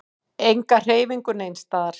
Enga hreyfingu neins staðar.